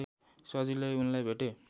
सजिलै उनलाई भेटे